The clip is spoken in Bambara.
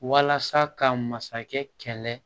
Walasa ka masakɛ kɛlɛ